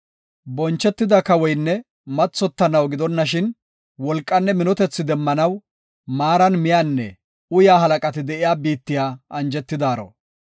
Bonchetida kawoynne mathotanaw gidonashin wolqanne minotethi demmanaw maaran miyanne uyaa halaqati de7iya biittiya anjetidaaro.